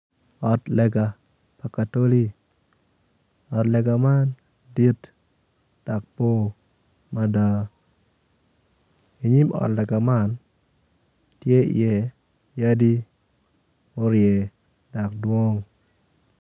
Ot lega pa katoli ot lega man dit dok bor mada inyim ot lega man tye iye yadi murye dok dwong.